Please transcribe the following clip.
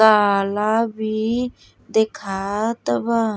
काला भी देखात बा।